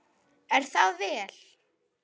Er það vel!